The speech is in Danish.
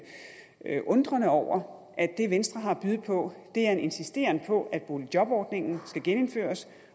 jeg undrer mig over at det venstre har at byde på er en insisteren på at boligjobordningen skal genindføres